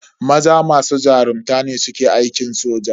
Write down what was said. Maza masu jarunta ne suke aikin soja.